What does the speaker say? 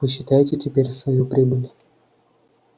посчитайте теперь свою прибыль